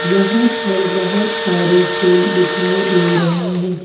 यहां पर बहुत सारे फूल दिखाई दे रहे हैं।